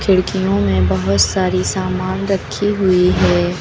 खिड़कियों में बहोत सारी सामान रखी हुई है।